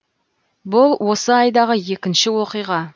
бұл осы айдағы екінші оқиға